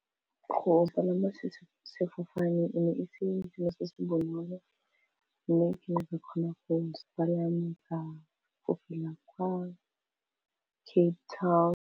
Go palama sefofaneng e ne e se selo se se bonolo mme ke ne ka kgona go se palama go fofela kwa Cape Town.